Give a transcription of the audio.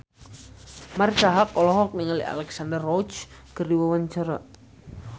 Marisa Haque olohok ningali Alexandra Roach keur diwawancara